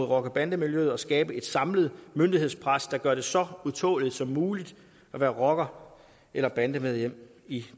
rocker bande miljøet og skabe et samlet myndighedspres der gør det så utåleligt som muligt at være rocker eller bandemedlem i